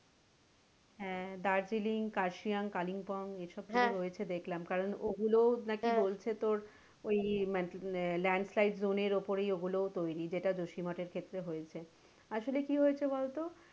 হ্যাঁ দার্জিলিং কারসিয়াং কালিংপং এসব রয়েছে তো দেখলাম কারন ওগুলো নাকি বলছে তোর ওই land side zone এর ওপরেই ওগুলো তৈরি যেটা জসি মঠের ক্ষেত্রে হয়েছে। আসলে কী হয়েছে বলতো?